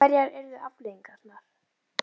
En hverjar yrðu afleiðingarnar?